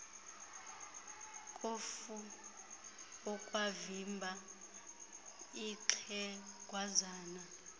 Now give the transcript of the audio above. kofu ungavimba ixhegwazana